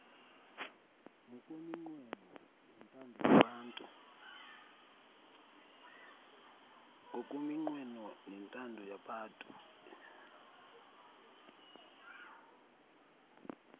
ngokweminqweno nentando yabatu